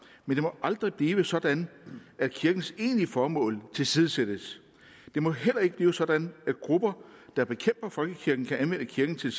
men det må aldrig blive sådan at kirkens egentlige formål tilsidesættes det må heller ikke blive sådan at grupper der bekæmper folkekirken kan anvende kirken til